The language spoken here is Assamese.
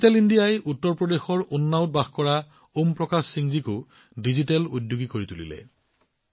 ডিজিটেল ইণ্ডিয়াই উত্তৰ প্ৰদেশৰ উন্নাওত বাস কৰা ওম প্ৰকাশ সিংজীকো ডিজিটেল উদ্যোগী কৰি তুলিছে